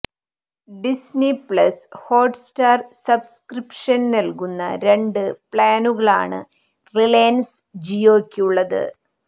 Disney plus Hotstar subscription നൽകുന്ന രണ്ട് പ്ലാനുകളാണ് റിലയൻസ് ജിയോയ്ക്ക് ഉള്ളത്